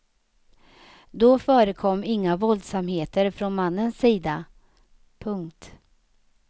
Då förekom inga våldsamheter från mannens sida. punkt